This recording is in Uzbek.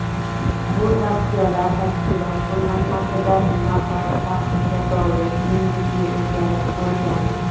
bu tavsiyalar tashkilot qo‘llanmasida niqob taqishga doir eng jiddiy o‘zgarish bo‘lgan.